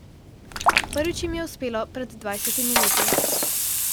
Prvič jim je uspelo pred dvajsetimi leti.